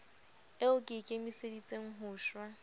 eo ke ikemiseditseng ho shwa